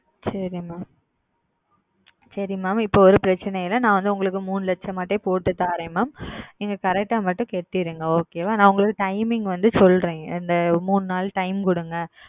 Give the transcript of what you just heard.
சரி Mam சரி Mam இப்பொழுது ஓர் பிரச்சனையும் இல்லை நான் வந்து உங்களுக்கு மூன்று லச்சமாகவே போட்டு தருகிறேன் Mam நீங்கள் Correct ஆ மட்டும் செலுத்தி விடுங்கள் Okay ஆ நான் உங்களுக்கு Timing வந்து சொல்லுகிறேன் இந்த மூன்று நாள் Time கொடுங்கள்